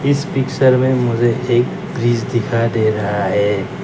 इस पिक्चर में मुझे एक ब्रिज दिखाई दे रहा है।